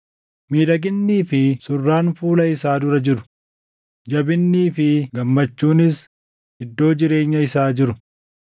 Miidhaginnii fi surraan fuula isaa dura jiru; jabinnii fi gammachuunis iddoo jireenya isaa jiru.